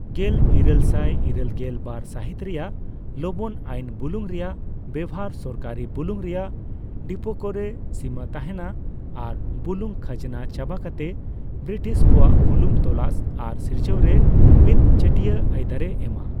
ᱜᱮᱞ ᱤᱨᱟᱹᱞᱥᱟᱭ ᱤᱨᱟᱹᱞᱜᱮᱞ ᱵᱟᱨ ᱥᱟᱹᱦᱤᱛ ᱨᱮᱭᱟᱜ ᱞᱚᱵᱚᱱ ᱟᱭᱤᱱ ᱵᱩᱞᱩᱝ ᱨᱮᱭᱟᱜ ᱵᱮᱳᱦᱟᱨ ᱥᱚᱨᱠᱟᱨᱤ ᱵᱩᱞᱩᱝ ᱨᱮᱭᱟᱜ ᱰᱤᱯᱳ ᱠᱚᱨᱮ ᱥᱤᱢᱟᱹᱛᱟᱦᱮᱱᱟ ᱟᱨ ᱵᱩᱞᱩᱝ ᱠᱷᱟᱡᱱᱟ ᱪᱟᱵᱟᱠᱟᱛᱮ ᱵᱨᱤᱴᱤᱥ ᱠᱚᱣᱟᱜ ᱵᱩᱞᱩᱝ ᱛᱚᱞᱟᱥ ᱟᱨ ᱥᱤᱨᱡᱟᱹᱣ ᱨᱮ ᱢᱤᱫᱪᱟᱹᱴᱤᱭᱟᱹ ᱟᱹᱭᱫᱟᱹᱨᱮ ᱮᱢᱟ ᱾